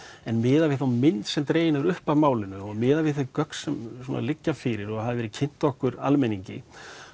en miðað við þá mynd sem dregin er upp í málinu og miðað við þau gögn sem liggja fyrir og hafa verið kynnt okkur almenningi